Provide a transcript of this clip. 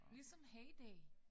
Ligesom Hay Day